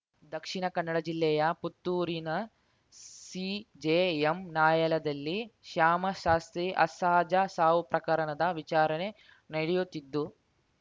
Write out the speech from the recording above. ದಕ್ಷಿಣ ಕನ್ನಡ ಜಿಲ್ಲೆಯ ಪುತ್ತೂರಿನ ಸಿಜೆಎಂ ನ್ಯಾಯಾಲಯದಲ್ಲಿ ಶ್ಯಾಮಶಾಸ್ತ್ರಿ ಅಸಹಜ ಸಾವು ಪ್ರಕರಣದ ವಿಚಾರಣೆ ನಡೆಯುತ್ತಿದ್ದು